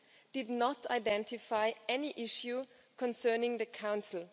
did not identify any issue concerning the Council'.